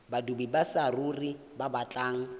badudi ba saruri ba batlang